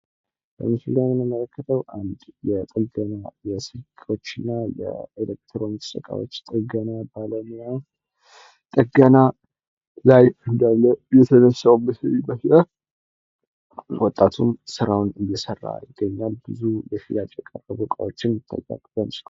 በምስሉ ላይ የምንመለከተው አንድ የጥገና የስልኮችና የኤሌክትሮኒክስ ጥገና ባለሙያ ጥገና ላይ እንዳለ የተነሳው ምስል ይመስላል። ወጣቱም ስራውን እየሰራ ይገኛል ብዙ ለሽያጭ የቀረቡ እቃዎች ይታያሉ።